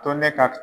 To ne ka